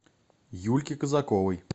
юльки казаковой